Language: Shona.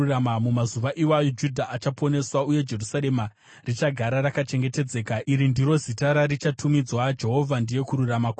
Mumazuva iwayo Judha achaponeswa, uye Jerusarema richagara rakachengetedzeka. Iri ndiro zita rarichatumidzwa: Jehovha Ndiye Kururama Kwedu.’